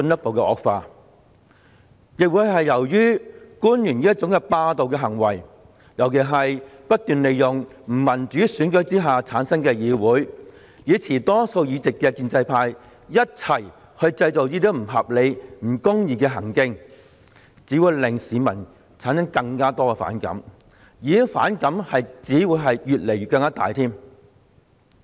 同時，官員這種霸道行為，尤其是他們不斷利用不民主選舉之下產生的議會，與持多數議席的建制派一起製造這些不合理和不公義情況的行徑，亦只會令市民產生更多並且越來越大的反感。